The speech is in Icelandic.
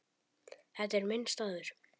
Þetta er minn staður.